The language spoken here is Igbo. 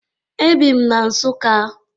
E bị m na Nsụka